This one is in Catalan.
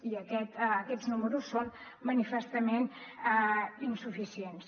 i aquests números són manifestament insuficients